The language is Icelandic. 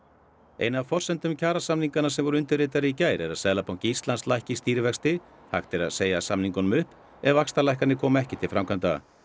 ein af forsendum kjarasamninganna sem voru undirritaðir í gær er að Seðlabanki Íslands lækki stýrivexti hægt er að segja samningunum upp ef vaxtalækkanir koma ekki til framkvæmda